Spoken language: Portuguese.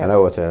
Era outra.